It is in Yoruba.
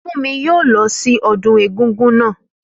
Fúnmi yóò lọ sí ọdún egúngún naa